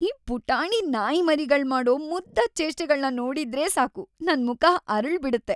ಈ ಪುಟಾಣಿ ನಾಯಿಮರಿಗಳ್ಮಾಡೋ ಮುದ್ದಾದ್ ಚೇಷ್ಟೆಗಳ್ನ ನೋಡಿದ್ರೇ ಸಾಕು, ನನ್‌ ಮುಖ ಅರಳ್‌ಬಿಡುತ್ತೆ.